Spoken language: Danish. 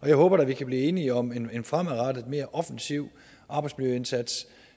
jeg håber da at vi kan blive enige om en en fremadrettet og mere offensiv arbejdsmiljøindsats